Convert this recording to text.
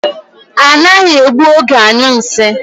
Ha anaghị egbu oge anyụ nsị.